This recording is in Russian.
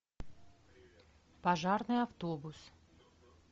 пожарный автобус